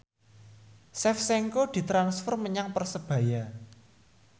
Shevchenko ditransfer menyang Persebaya